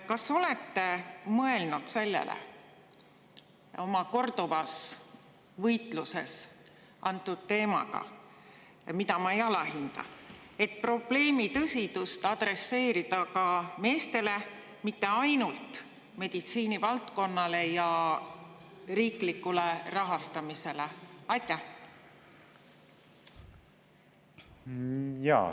Kas te võitluses antud teema eest – mida ma ei alahinda – olete mõelnud sellele, et probleemi tõsidust adresseerida ka meestele, mitte ainult meditsiinivaldkonnale ja riiklikule rahastamisele?